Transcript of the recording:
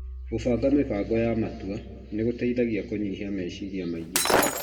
Gũbanga mĩbango ya matua nĩ gũteithagia kũnyihia meciria maingĩ.